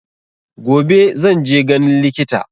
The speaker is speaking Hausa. Gobe zan je ganin likita.